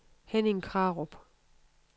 Henning Krarup